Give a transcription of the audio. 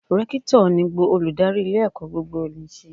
Rékítọ̀ ni olórí ilé ẹ̀kọ́ gbogbonìṣe